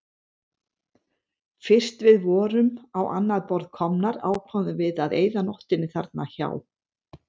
Fyrst við vorum á annað borð komnar ákváðum við að eyða nóttinni þarna hjá